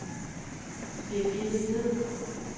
Birgitte Hviid